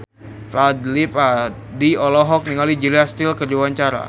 Fadly Padi olohok ningali Julia Stiles keur diwawancara